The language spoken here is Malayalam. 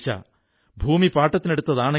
ഈ ട്രസ്റ്റ് 1975 മുതൽ പ്രവർത്തിക്കുന്നതാണ്